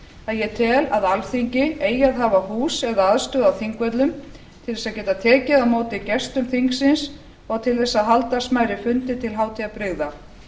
að ég tel að alþingi eigi að hafa hús eða aðstöðu á þingvöllum til þess að geta tekið á móti gestum þingsins og til þess að halda smærri fundi til hátíðabrigða